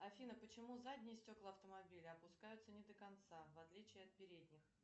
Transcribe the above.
афина почему задние стекла автомобиля опускаются не до конца в отличие от передних